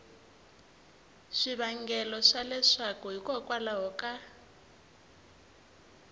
swivangelo swa leswaku hikokwalaho ka